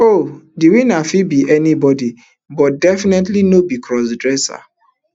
oh di winner fit be anybody but definitely no be crossdresser